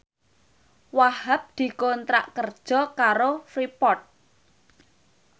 Wahhab dikontrak kerja karo Freeport